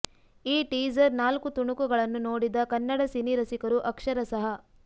ಈ ಟೀಸರ್ ನಾಲ್ಕು ತುಣುಕು ಗಳನ್ನು ನೋಡಿದ ಕನ್ನಡ ಸಿನಿರಸಿಕರು ಅಕ್ಷರಶಃ